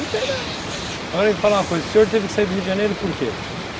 Não tem não, agora me fala uma coisa, o senhor teve que sair do Rio de Janeiro por quê?